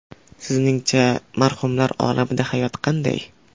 Sizningcha marhumlar olamida hayot qanday?